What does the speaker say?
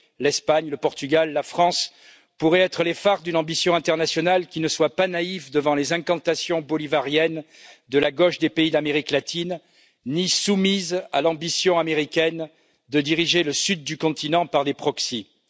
L'Espagne, le Portugal, la France pourraient être les phares d'une ambition internationale qui ne soit pas naïve devant les incantations bolivariennes de la gauche des pays d'Amérique latine, ni soumise à l'ambition américaine de diriger le sud du continent par procuration.